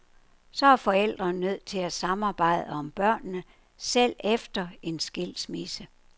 Så er forældrene nødt til at samarbejde om børnene, selv efter en skilsmisse.